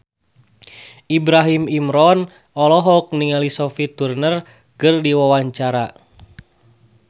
Ibrahim Imran olohok ningali Sophie Turner keur diwawancara